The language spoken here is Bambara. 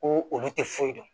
Ko olu tɛ foyi dɔn